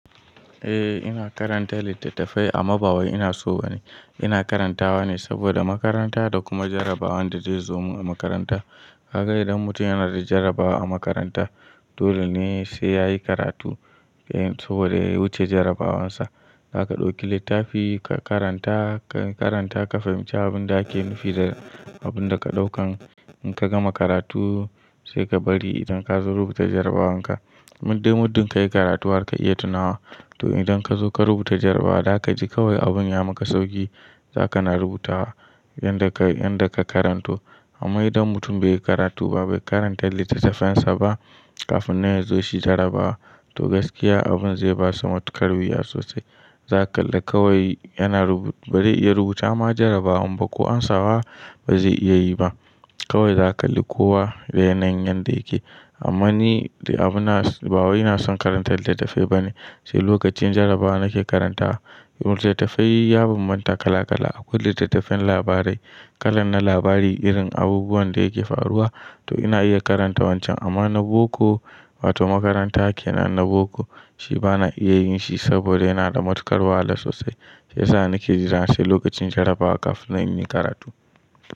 Eh ina karanta littattafai amma ba wai ina so ba ne. Ina karantawa ne saboda makaranta da kuma jarrabawan da zai zo mu a makaranta. Hakka idan mutum yana da jarabawa a makaranta, dole ne sai yayi karatu saboda ya wuce jarabawansa. Hakka ɗauki littafi ka karanta, ka karanta ka fahimci abin da ake nufi da abin da ka ɗauka. In ka gama karatu sai ka bari idan ka zo rubuta jarabawanka. Muddin ka yi karatu har ka iya tunawa, to idan ka zo ka rubuta jarabawa, za ka ji kawai abun ya maka sauki. Haka na rubuta wa inda ka, inda ka karanto. Amma idan mutum bai yi karatu ba, bai karanta littattafensa ba kafin na ya zo shi jarabawa, to gaskiya abin zai ba shi matukar wuya sosai. Za ka kalli kawai yana rubu-- bari ya rubuta ma jarabawan ba ko amsawa ba zai iya yi ba. Kawai za ka kalli kowa da yanayin yanda yake. Amma ni abuna, ba wai na son karanta littattafai ba ne, sai lokacin jarabawa nake karantawa. Littattafai yabanbanta kala kala. Akwai littattafan labarai, kalan na labari irin abubuwan da yake faruwa. To ina iya karanta wancan amma na boko wa to makaranta ke nan na boko, shi bana iya yin shi saboda yana da matukar wahala sosai. Shi ya sa nake jira sai lokacin jarabawa kafin zan in yi karatu.